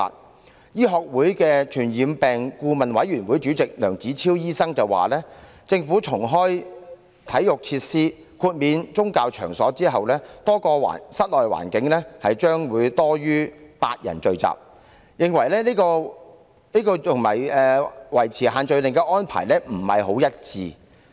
香港醫學會傳染病顧問委員會主席梁子超醫生表示，當政府重開體育設施及豁免宗教場所後，多個室內環境將有多於8人聚集，這與維持限聚令的安排並不一致。